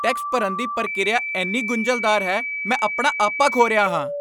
Tax ਭਰਨ ਦੀ ਪ੍ਰਕਿਰਿਆ ਇੰਨੀ ਗੁੰਝਲਦਾਰ ਹੈ, ਮੈਂ ਆਪਣਾ ਆਪਾ ਖੋ ਰਿਹਾ ਹਾਂ!